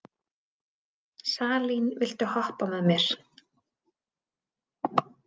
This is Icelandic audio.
Salín, viltu hoppa með mér?